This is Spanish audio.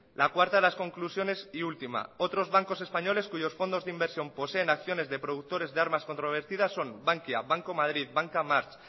la cuarta de las conclusiones y última otros bancos españoles cuyos fondos de inversión poseen acciones de productores de armas controvertidas son bankia banco madrid banca march